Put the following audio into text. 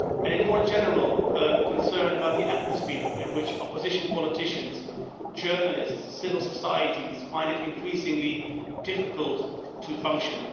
and, more generally, concern about the atmosphere in which opposition politicians, journalists and civil society find it increasingly difficult to function.